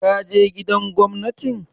Ka je Gidan Gwamnatin?